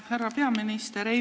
Härra peaminister!